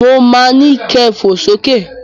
Mo ma ni kẹ fò sókè